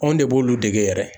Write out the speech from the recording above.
Anw de b'olu dege yɛrɛ.